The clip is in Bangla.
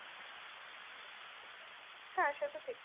হ্যাঁ সে তো ঠিক।